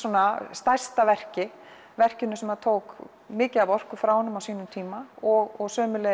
stærsta verki verki sem tók mikið af orku frá honum á sínum tíma og